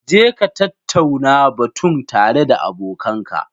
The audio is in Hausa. Jeka tattauna batun tare da abokanka.